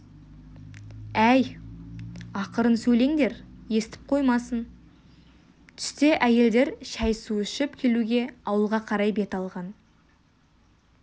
әй ақырын сөйлеңдер естіп қоймасын түсте әйелдер шай-су ішіп келуге ауылға қарай бет алған